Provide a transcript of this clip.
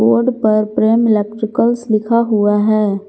Board पर Prem electricals लिखा हुआ है।